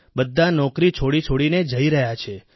બધા નોકરી છોડી છોડીને જઈ રહ્યા છે